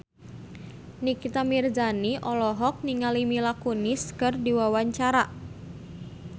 Nikita Mirzani olohok ningali Mila Kunis keur diwawancara